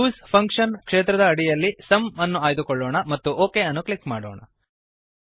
use function ಕ್ಷೇತ್ರದ ಅಡಿಯಲ್ಲಿ sum ಅನ್ನು ಆಯ್ದುಕೊಳ್ಳೋಣ ಮತ್ತು ಒಕ್ ಅನ್ನು ಕ್ಲಿಕ್ ಮಾಡೋಣ